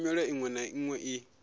nyimele iṅwe na iṅwe i